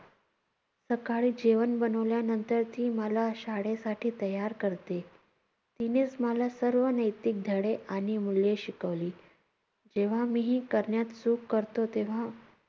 सकाळी जेवण बनवल्यानंतर ती मला शाळेसाठी तयार करते. तिनेच मला सर्व नैतिक धडे आणि मूल्ये शिकवली. जेव्हा मीही करण्यात चूक करतो तेव्हा